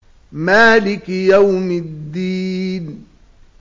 مَالِكِ يَوْمِ الدِّينِ